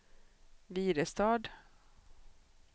Virestad